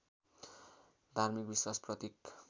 धार्मिक विश्वास प्रतीक